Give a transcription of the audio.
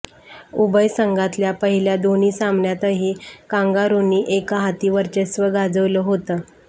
उभय संघातल्या पहिल्या दोन्ही सामन्यांतही कांगारुंनी एकहाती वर्चस्व गाजवलं होतं